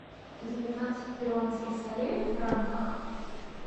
девятнадцать перуанских солей в франках